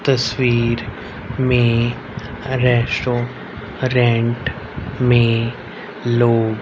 तस्वीर में restaurant में लोग--